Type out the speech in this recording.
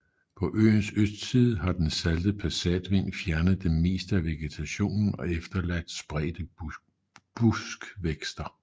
På øens østside har den salte passatvind fjernet det meste af vegetationen og efterladt spredte buskvækster